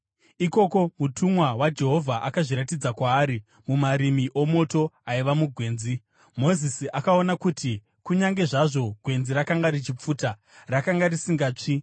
Ikoko, mutumwa waJehovha akazviratidza kwaari mumarimi omoto aiva mugwenzi. Mozisi akaona kuti kunyange zvazvo gwenzi rakanga richipfuta, rakanga risingatsvi.